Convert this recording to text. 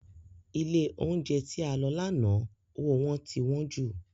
Ilé oúnjẹ tí a lọ lánàá owó wọn ti wọ́n jù